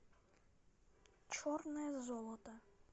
черное золото